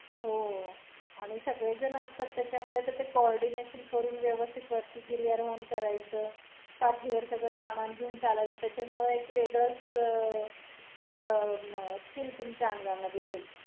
हो, आणि सगळे जण असतात त्याच्यामध्ये त ते coordination करून व्यवस्थित वरती गिरियारोहान करायचं. पाठीवर सगळ सामान घेऊन चालाच, त्यामुळे एक वेगळचं अं skill तुमच्या आंगामधे